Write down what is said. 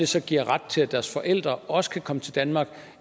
så giver ret til at deres forældre også kan komme til danmark